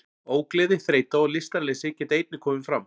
Ógleði, þreyta og lystarleysi geta einnig komið fram.